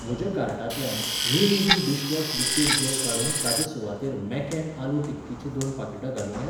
म्हज्या कार्टांतल्यान निमईझी डिशवॉश लिक्विड जॅल काडून ताचे सुवातेर मॅकॅन आलू टिक्कीची दोन पाकिटां घालूं येत?